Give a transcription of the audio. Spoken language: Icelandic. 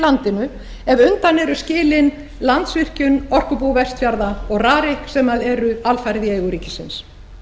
landinu ef undan eru skilin landsvirkjun orkubú vestfjarða og rarik sem eru alfarið í eigu ríkisins